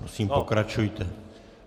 Prosím, pokračujte.